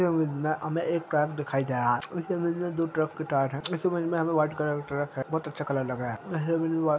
इस इमेज में हमें एक ट्रक दिखाई दे रहा है इस इमेज में दो ट्रक के टायर है इस इमेज में हमें वाइट कलर का ट्रैक है बहोत अच्छा कलर लग रहा है इस इमेज में --